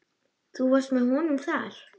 Þú varst með honum þar?